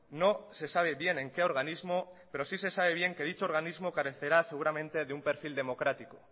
no se sabe bien en qué organismo pero sí se sabe bien que dicho organismo carecerá seguramente de un perfil democrático